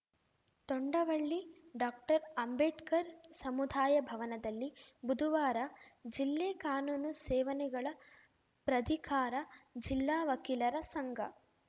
Tondavalli doctor Ambedkar ಸಮುದಾಯ ಭವನದಲ್ಲಿ ಬುಧುವಾರ ಜಿಲ್ಲೆ ಕಾನೂನು ಸೇವನೆಗಳ ಪ್ರಧಿಕಾರ ಜಿಲ್ಲಾ ವಕೀಲರ ಸಂಘ